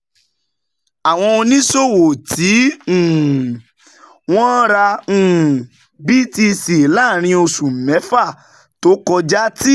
Àwọn oníṣòwò tí um wọ́n ra um BTC láàárín oṣù mẹ́fà um tó kọjá ti